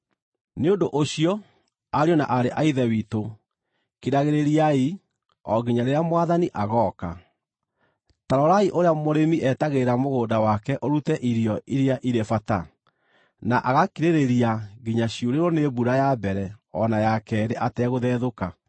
Nĩ ũndũ ũcio, ariũ na aarĩ a Ithe witũ, kiragĩrĩriai, o nginya rĩrĩa Mwathani agooka. Ta rorai ũrĩa mũrĩmi etagĩrĩra mũgũnda wake ũrute irio iria irĩ bata, na agakirĩrĩria nginya ciurĩrwo nĩ mbura ya mbere o na ya keerĩ ategũthethũka.